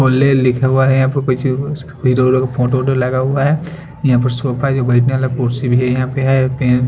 होले लिखा हुआ है यहाँ पर इधर उधर फोटो वोटो लगा हुआ हैं यहां पे सोफा भी बेठने वाला कुर्सी भी हैं यहां पे हैं फिर--